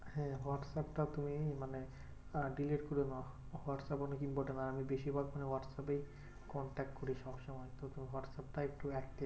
হ্যাঁ হোয়াটস্যাপ টা তুমি মানে delete করো না। হোয়াটস্যাপ অনেক important আর আমি বেশিরভাগ সময় হোয়াটস্যাপ এই contact করি সবসময়। তো হোয়াটস্যাপ টাই একটু active